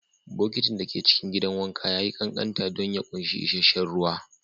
Bokitin da ke cikin gidan wanka ya yi ƙanƙanta don ya ƙunshi isasshen ruwa